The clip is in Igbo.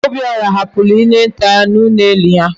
Obiora hapuru ihe nta ya na ulo enyi ya